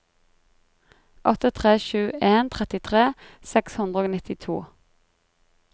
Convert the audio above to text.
åtte tre sju en trettitre seks hundre og nittito